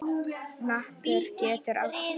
Hnappur getur átt við